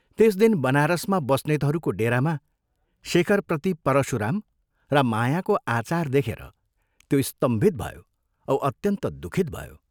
त्यस दिन, बनारसमा बस्नेतहरूको डेरामा शेखरप्रति परशुराम र मायाको आचार देखेर त्यो स्तम्भित भयो औ अत्यन्त दुःखित भयो।